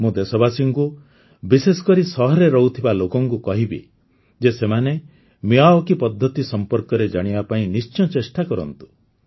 ମୁଁ ଦେଶବାସୀଙ୍କୁ ବିଶେଷ କରି ସହରରେ ରହୁଥିବା ଲୋକଙ୍କୁ କହିବି ଯେ ସେମାନେ ମିୟାୱାକି ପଦ୍ଧତି ସମ୍ପର୍କରେ ଜାଣିବା ପାଇଁ ନିଶ୍ଚୟ ଚେଷ୍ଟା କରନ୍ତୁ